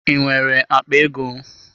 I nwere akpa ego?